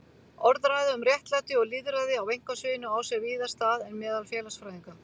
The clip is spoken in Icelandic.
Orðræða um réttlæti og lýðræði á einkasviðinu á sér víðar stað en meðal félagsfræðinga.